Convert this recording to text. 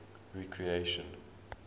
recreation